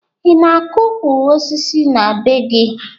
Ị na-akọ ukwu osisi na be gị?